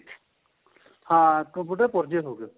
ਹਾਂ computer ਦੇ ਪੁਰਜੇ ਹੋ ਗਏ